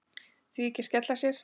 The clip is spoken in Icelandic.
Því ekki að skella sér?